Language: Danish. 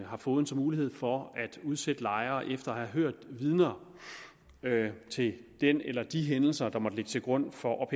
har fogeden mulighed for at udsætte lejere efter at have hørt vidner til den eller de hændelser der måtte ligge til grund for